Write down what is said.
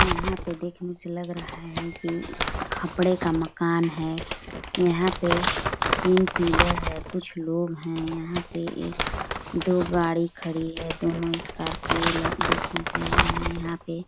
यहाँ पे देखने से लग रहा है की खपड़े का मकान है यहाँ पे तीन पिलर है कुछ लोग है यहाँ पे एक दो गाड़ी खड़ी है दोनों स्कॉर्पियो ल देखने से लग रहा है यहाँ पे--